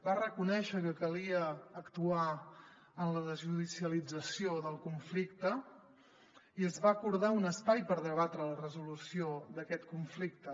va reconèixer que calia actuar en la desjudicialització del conflicte i es va acordar un espai per debatre la resolució d’aquest conflicte